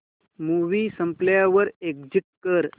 movie संपल्यावर exit कर